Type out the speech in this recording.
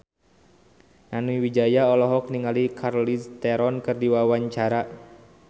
Nani Wijaya olohok ningali Charlize Theron keur diwawancara